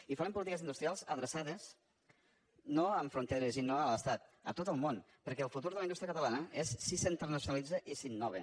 i farem polítiques industrials adreçades no amb fronteres i no a l’estat a tot el món perquè el futur de la indústria catalana és si s’internacionalitza i si innova